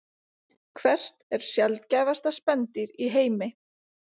Hvert er sjaldgæfasta spendýr í heimi?